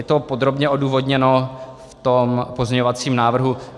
Je to podrobně odůvodněno v tom pozměňovacím návrhu.